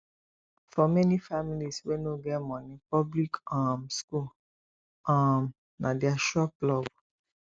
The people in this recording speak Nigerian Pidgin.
for many families wey no get money public um school um na their sure plug